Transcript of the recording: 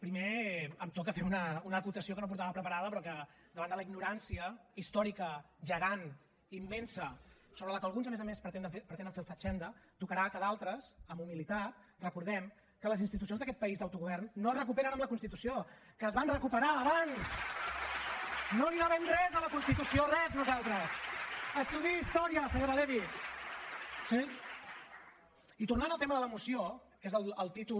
primer em toca fer una acotació que no portava preparada però que davant de la ignorància històrica gegant immensa sobre la qual alguns a més a més pretenen fer el fatxenda tocarà que d’altres amb humilitat recordem que les institucions d’aquest país d’autogovern no es recuperen amb la constitució que es van recuperar abans no li devem res a la constitució res nosaltres estudiï història senyora levy i tornant al tema de la moció que és el títol